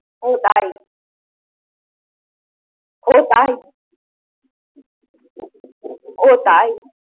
ও তাই। ও তাই। ও তাই।